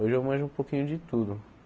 Hoje eu manjo um pouquinho de tudo.